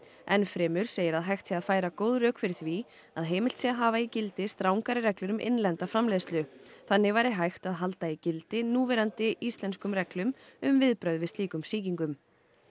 enn fremur segir að hægt sé að færa góð rök fyrir því að heimilt sé að hafa í gildi strangari reglur um innlenda framleiðslu þannig væri hægt að halda í gildi núverandi íslenskum reglum um viðbrögð við slíkum sýkingum